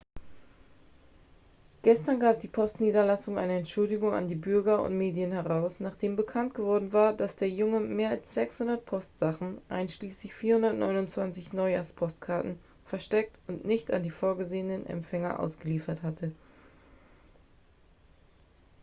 gestern gab die postniederlassung eine entschuldigung an die bürger und medien heraus nachdem bekannt geworden war dass der junge mehr als 600 postsachen einschließlich 429 neujahrs-postkarten versteckt und nicht an die vorgesehenen empfänger ausgeliefert hatte